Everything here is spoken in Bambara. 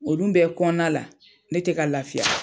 Olu bɛ kɔnɔna la, ne tɛ ka lafiya.